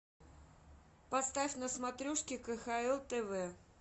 поставь на смотрешке кхл тв